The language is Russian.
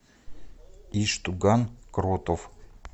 иштуган кротов